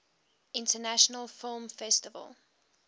international film festival